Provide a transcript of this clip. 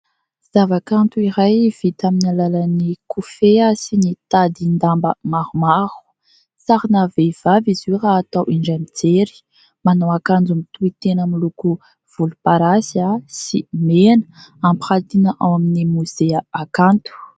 Ny zavakanto iray vita amin'ny alalan'ny kofehy sy ny tadin-damba maromaro, sarina vehivavy izy io raha atao indray mijery; manao akanjo mitohy tena miloko volomparasy sy mena, ampiratiana ao amin'i Mozea Akanto.